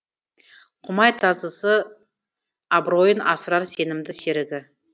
құмай тазысы абыройын асырар сенімді серігі